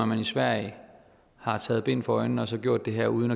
man i sverige har taget bind for øjnene og så gjort det her uden